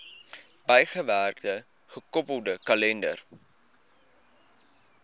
bygewerkte gekoppelde kalender